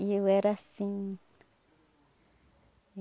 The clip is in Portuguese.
E eu era assim.